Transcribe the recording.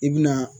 I bi na